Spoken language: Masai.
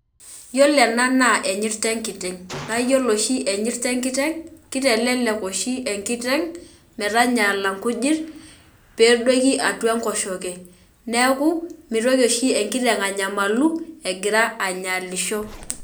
Iyolo ena na enyirt enkiteng na iyolo enyirt enkiteng kitelelek oshi enkiteng metanyala nkujit pedoku atua enkosheke neaky mitoki oshi enkiteng anyamalu egira anyaalisho